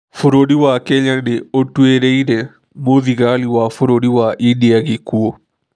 Bũrũri wa Kenya nĩ ũtuĩrĩire mũthigani wa bũrũri wa India gĩkuũ